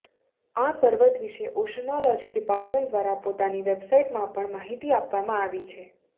આ પર્વત વિશે ઓશનોલોજી ડિપાર્ટમેન્ટ દ્વારા પોતાની વેબસાઇટમાં પણ માહિતી આપવામાં આવી છે